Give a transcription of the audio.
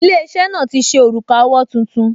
Ilé-iṣẹ́ náà ti ṣe òrùka owó tuntun